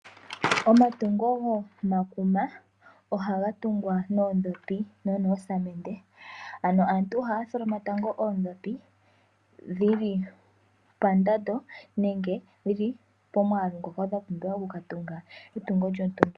Omatungo gomakuma ohaga tungwa noondhopi no noosamende. Ano aantu ohaya tholoma tango oondhopi dhili pandando nenge pomwaalu ngoka gwa pumbiwa oku ka tunga etungo lyontumba.